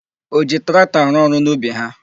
O ji traktọ arụ ọrụ n'ubi ha?